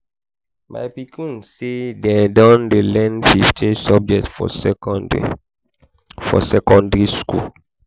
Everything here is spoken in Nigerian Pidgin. my pikin sey dem dey learn fifteen subject for secondary for secondary skool.